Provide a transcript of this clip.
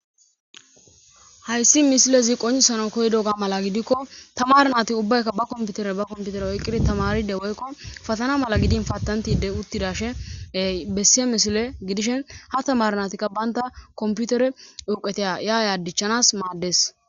Hayssi misilezi qoncisanaw koyidoga mala gidikko tamaare naati ubbaykka ba komputere ba komputere oyqqidi tamaaride woykko fatana mala gidin patantide uttidashin bessiya misile gidishin ha tamaare naatikka banta komputeren urqeteya ya ya dichchanas maades.